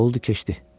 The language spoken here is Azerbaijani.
Oldu, keçdi.